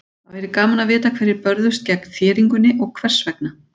Það væri gaman að vita hverjir börðust gegn þéringunni og hvers vegna.